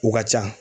U ka ca